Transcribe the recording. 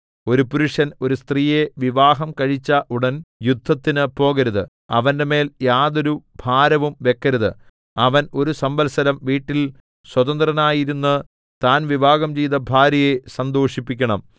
ഒരു പുരുഷൻ ഒരു സ്ത്രീയെ വിവാഹം കഴിച്ച ഉടൻ യുദ്ധത്തിന് പോകരുത് അവന്റെമേൽ യാതൊരു ഭാരവും വെക്കരുത് അവൻ ഒരു സംവത്സരം വീട്ടിൽ സ്വതന്ത്രനായിരുന്ന് താൻ വിവാഹം ചെയ്ത ഭാര്യയെ സന്തോഷിപ്പിക്കണം